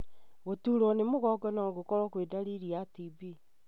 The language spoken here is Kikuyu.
Gũturwo nĩ mũgongo no gũkorwo kwĩ ndariri ya TB.